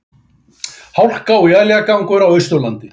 Hálka og éljagangur á Austurlandi